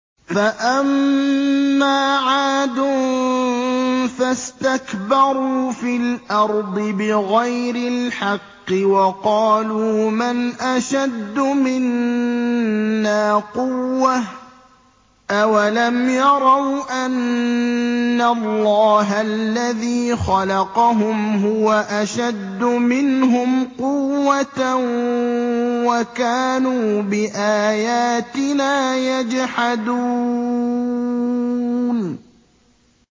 فَأَمَّا عَادٌ فَاسْتَكْبَرُوا فِي الْأَرْضِ بِغَيْرِ الْحَقِّ وَقَالُوا مَنْ أَشَدُّ مِنَّا قُوَّةً ۖ أَوَلَمْ يَرَوْا أَنَّ اللَّهَ الَّذِي خَلَقَهُمْ هُوَ أَشَدُّ مِنْهُمْ قُوَّةً ۖ وَكَانُوا بِآيَاتِنَا يَجْحَدُونَ